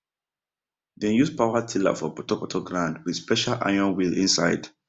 dem use power tiller for putoputo ground with special iron wheel inside